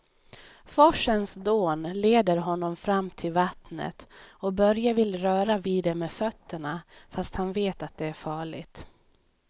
Forsens dån leder honom fram till vattnet och Börje vill röra vid det med fötterna, fast han vet att det är farligt.